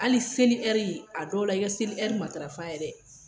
Hali seli ɛri , a dɔw la i ka seli ɛri matrafa yɛrɛ!